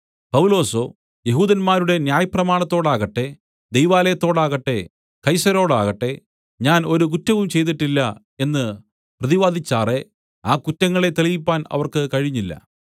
പൗലൊസോ യെഹൂദന്മാരുടെ ന്യായപ്രമാണത്തോടാകട്ടെ ദൈവാലയത്തോടാകട്ടെ കൈസരോടാകട്ടെ ഞാൻ ഒരു കുറ്റവും ചെയ്തിട്ടില്ല എന്ന് പ്രതിവാദിച്ചാറെ ആ കുറ്റങ്ങളെ തെളിയിപ്പാൻ അവർക്ക് കഴിഞ്ഞില്ല